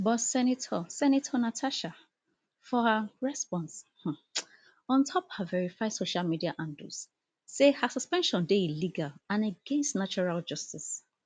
but senator senator natasha for her um response on top her verified social media handles say her suspension dey illegal and against natural justice